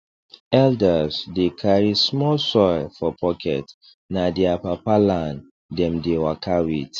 elders dey carry small soil for pocket na their papa land dem dey waka with